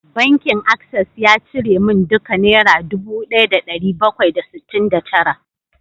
Bankin Access ya cire min duka naira dubu daya da dari bakwai da sittin da tara